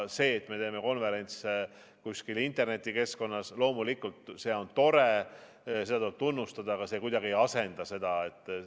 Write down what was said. See, et me teeme konverentse kuskil internetikeskkonnas, loomulikult on tore, seda tuleb tunnustada, aga see kuidagi ei asenda väliskonverentse.